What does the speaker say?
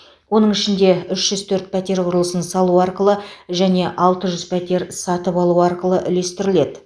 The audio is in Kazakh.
оның ішінде үш жүз төрт пәтер құрылысын салу арқылы және алты жүз пәтер сатып алу арқылы үлестіріледі